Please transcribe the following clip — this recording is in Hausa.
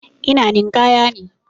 Ina ninƙaya ne.